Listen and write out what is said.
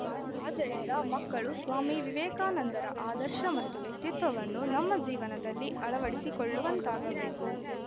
ಆದ್ದರಿಂದ ಮಕ್ಕಳು ಸ್ವಾಮಿ ವಿವೇಕಾನಂದರ ಆದರ್ಶ ಮತ್ತು ವ್ಯಕ್ತಿತ್ವವನ್ನು ನಮ್ಮ ಜೀವನದಲ್ಲಿ ಆಳವಡಿಸಿಕೊಳ್ಳುವಂತಾಗಬೇಕು